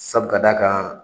Sabu ka d'a kan